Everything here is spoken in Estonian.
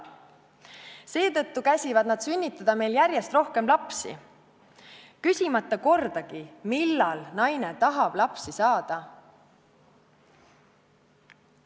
Seetõttu käsivad nad sünnitada meil järjest rohkem lapsi, küsimata kordagi, millal naine tahab lapsi saada.